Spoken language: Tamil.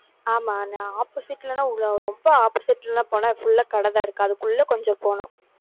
ஆமா, நான் opposite ல எல்லாம் ரொம்ப opposite ல எல்லாம் போனா full ஆ கடைதான் இருக்கு. அதுக்குள்ள கொஞ்சம் போகணும்.